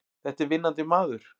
Þetta er vinnandi maður!